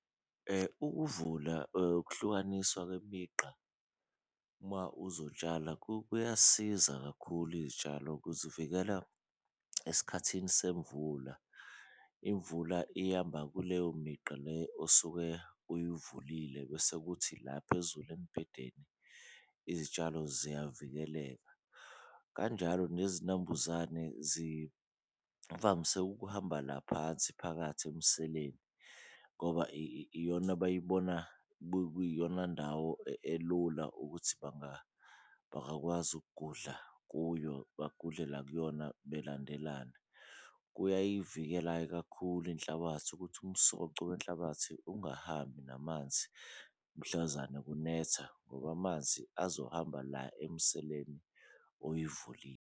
Ukuvula ukuhlukaniswa kwemigqa uma uzotshala kuyasiza kakhulu iy'tshalo kuzivikela esikhathini semvula, imvula iyamba kuleyo migqa le osuke uyivulile bese kuthi la phezulu embhedeni izitshalo ziyavikeleka. Kanjalo nezinambuzane zivamise ukuhamba la phansi phakathi emseleni ngoba iyona abayibona kuyiyona ndawo elula ukuthi bangakwazi ukugudluka kuyo, bagudle la kuyona belandelelana. Kuyayivikela-ke kakhulu inhlabathi ukuthi umsoco wenhlabathi ungahambi namanzi mhlazane kunetha ngoba amanzi azohamba la emiseleni oyivulile.